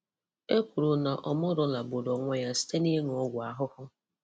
Ekwuru na Omolola gburu onwe ya site n'ịṅụ ọgwụ ahụhụ.